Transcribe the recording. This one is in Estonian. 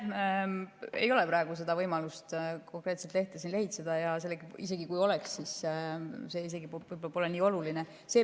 Mul ei ole praegu võimalust seda lehte siin lehitseda, ja isegi kui oleks, siis see võib-olla polegi praegu nii oluline.